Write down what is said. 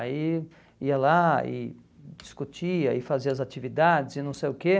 Aí ia lá e discutia e fazia as atividades e não sei o quê.